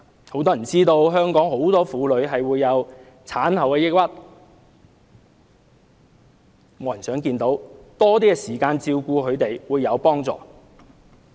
很多人不知道很多香港婦女會患上產後抑鬱症，這是沒有人想看到的，丈夫能有多些時間照顧她們，會有幫助。